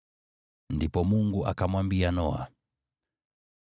Ndipo Mungu akamwambia Noa,